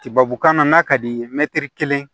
Tibabukan na n'a ka d'i ye mɛtiri kelen